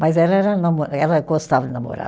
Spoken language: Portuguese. Mas ela era namo, ela gostava de namorar.